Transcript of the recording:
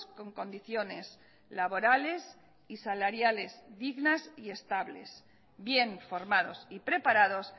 con condiciones laborales y salariales dignas y estables bien formados y preparados